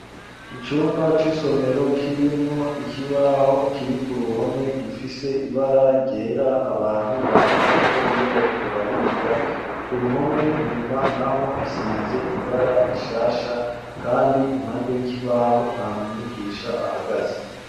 Icumba c'isomero, kirimwo ikibaho, kiri ku ruhome, gifise ibara ryera, abantu bandikako, iyo bariko bariga; ku ruhome, inyuma, naho hasize ibara rishasha, kandi impande y'ikibaho, nta mwigisha ahagaze.